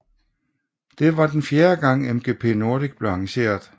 Dette var den fjerde gang MGP Nordic blev arrangeret